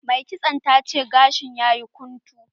Mai kitson ta ce gashin ta yayi guntu.